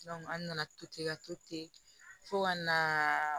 an nana to ten ka to ten fo ka na